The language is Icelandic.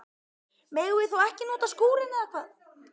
Megum við þá ekki nota skúrinn, eða hvað?